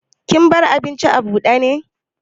Kin bar abincin abude ne?